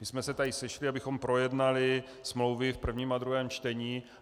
My jsme se tady sešli, abychom projednali smlouvy v prvním a druhém čtení.